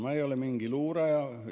Ma ei ole mingi luuraja.